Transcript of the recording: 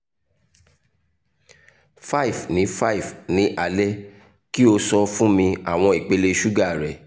5 ni 5 ni alẹ ki o sọ fun mi awọn ipele suga rẹ